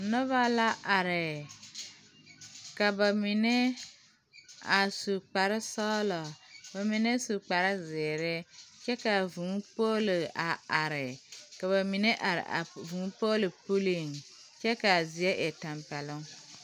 Nobɔ la are ka ba mine a su kparesɔglaa ba mine su kparezeere kyɛ kaa vūū poolo a are ka ba mine a vūū Poole puliŋ kyɛ kaa zie e tampɛloŋ.